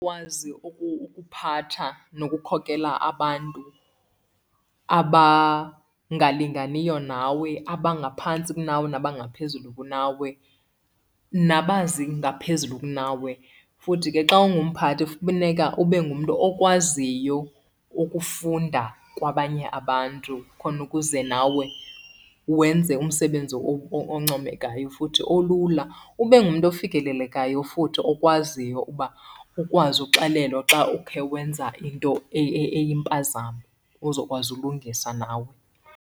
ukuphatha nokukhokela abantu abangalinganiyo nawe, abangaphantsi kunawe nabangaphezulu kunawe, nabazi ngaphezulu kunawe. Futhi ke xa ungumphathi funeka ube ngumntu okwaziyo ukufunda kwabanye abantu khona ukuze nawe wenze umsebenzi oncomekayo futhi olula. Ube ngumntu ofikelelekayo futhi okwaziyo uba ukwazi uxelelwa xa ukhe wenza into eyimpazamo, uzokwazi ulungisa nawe.